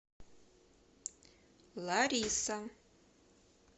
лариса